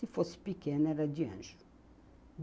Se fosse pequeno, era de anjo.